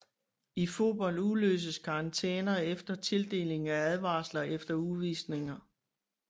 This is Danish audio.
I fodbold udløses karantæner efter tildeling af advarsler eller udvisninger